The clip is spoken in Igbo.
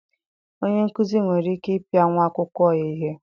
Onye nkuzi nwere ikike ịpịa nwa akwụkwọ ya ihe.